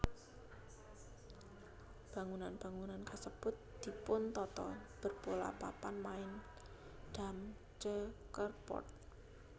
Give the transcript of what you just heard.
Bangunan bangunan kasèbut dipuntata berpola papan main dam checkerboard